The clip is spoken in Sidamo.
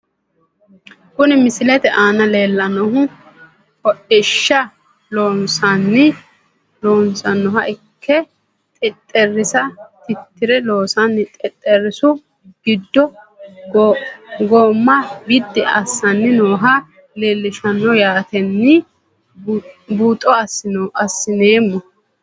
Kuni misilete aana leelanohu hodhishsha loosanoha ikke xexerisa titire loosani xexerisu giddo gooma bidi asani nooha leelishano yaateni buuxo asinoomo.